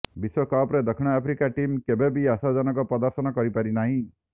ବିଶ୍ୱକପ୍ରେ ଦକ୍ଷିଣ Africa team କେବେ ବି ଆଶାଜନକ ପ୍ରଦର୍ଶନ କରିପାରିନାହିଁ